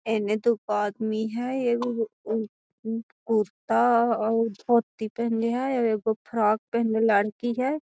एने दुगो आदमी है एगो उ-उ कुर्ता और धोती पहिनल है एगो फ्रॉक पहनले लड़की है।